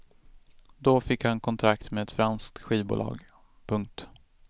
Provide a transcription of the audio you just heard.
Då fick han kontrakt med ett franskt skivbolag. punkt